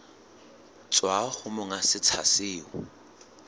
tswa ho monga setsha seo